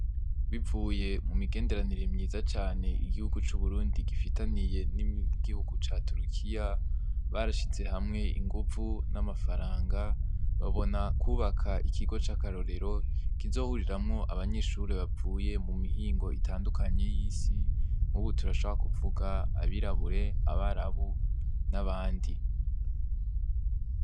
Bivuye mumigenderanire myiza cane igihugu c'Uburundi gifitaniye n'igihugu ca Turikiya, barashize hamwe inguvu n'amafaranga, babona kwubaka ikigo c'akarorero kizohuriramwo abanyeshure bavuye mumihingo itandukanye y'isi. Nk'ubu turashobora kuvuga abirabure, abarabu, n'abandi.